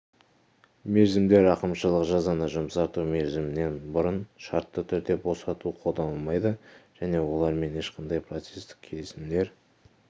мерзімдер рақымшылық жазаны жұмсарту мерзімінен бұрын шартты түрде босату қолданылмайды және олармен ешқандай процестік келісімдер